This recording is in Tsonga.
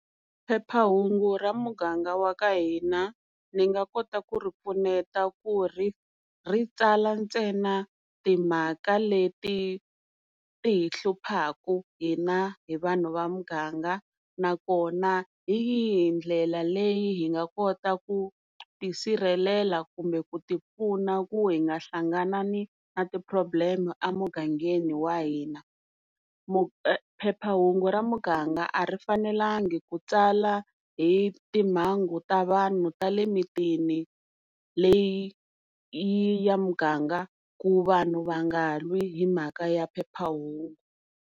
Phephahungu ra muganga wa ka hina ni nga kota ku ri pfuneta ku ri ri tsala ntsena timhaka leti ti hi hluphaku hina hi vanhu va muganga, na kona hi yihi ndlela leyi hi nga kota ku tisirhelela kumbe ku ti pfuna ku hi nga hlanganani na ti problem emugangeni wa hina, phephahungu ra muganga a ri fanelangi kutsala hi timhangu ta vanhu ta le mimitini leyi ya muganga ku vanhu va nga lwi himhaka ya phephahungu.